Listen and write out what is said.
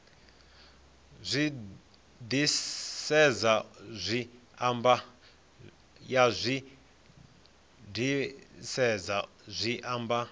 ya zwi disedza zwi amba